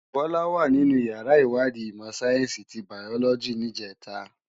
Bola wá ninú iyàrá iwàdí imò sáyènsí ti báyòlòjí nijètá